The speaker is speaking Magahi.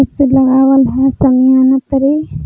ई सब लगावल हई समियाना तरी।